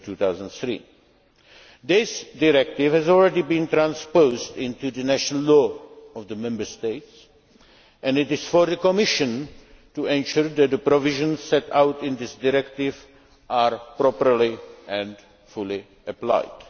2003. This Directive has already been transposed into the national law of the Member States and it is for the Commission to ensure that the provisions set out in this Directive are properly and fully applied.